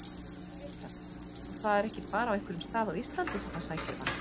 Birta: Og það er ekki bara á einhverjum stað á Íslandi sem hann sækir vatnið?